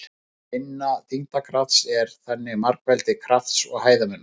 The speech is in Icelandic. Vinna þyngdarkrafts er þannig margfeldi krafts og hæðarmunar.